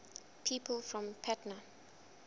people from patna